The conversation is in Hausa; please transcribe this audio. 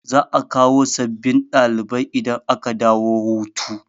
Za'a kawo sabbin dalibai idan aka dawo hutu.